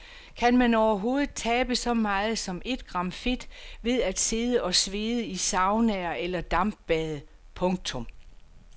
Kan man overhovedet tabe så meget som ét gram fedt ved at sidde og svede i saunaer eller dampbade. punktum